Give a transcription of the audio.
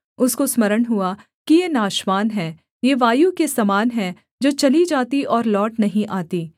उसको स्मरण हुआ कि ये नाशवान हैं ये वायु के समान हैं जो चली जाती और लौट नहीं आती